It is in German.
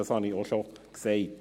Dies habe ich bereits gesagt.